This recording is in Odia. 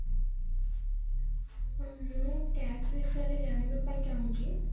ମୁଁ tax ବିଷୟରେ ଜାଣିବା ପାଇଁ ଚାହୁଁଛି